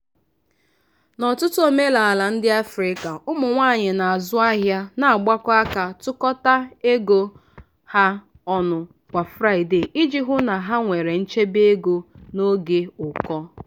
n'ọtụtụ omenala ndị africa ụmụ nwanyị na-azụ ahịa na-agbakọ aka tụkọta ego ha ọnụ kwa fraịde iji hụ na ha nwere nchebe ego n'oge ụkọ.